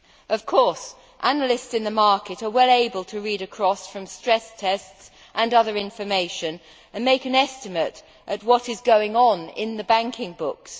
Of course, analysts in the market are well able to read across from stress tests and other information and make an estimate as to what is going on in the banking books.